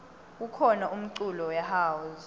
kukhona umculo we house